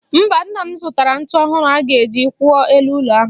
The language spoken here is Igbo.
Mba, nna m zụtara ntu ọhụrụ a ga-eji kwụọ elu ụlọ ahụ.